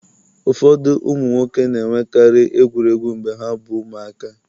ụfọdụ ụmụ nwoke na-enwekarị egwuregwu mgbe ha bụ ụmụaka